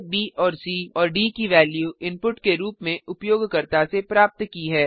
आ b c और d की value input के रूप में उपयोगकर्ता से प्राप्त की है